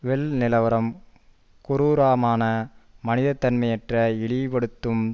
will நிலவரம் குரூரமான மனித தன்மையற்ற இழிவுபடுத்தும்